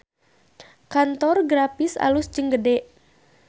Kantor Graphis alus jeung gede